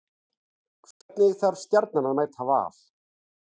Hvernig þarf Stjarnan að mæta Val?